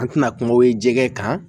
An tɛna kuma ye jɛgɛ kan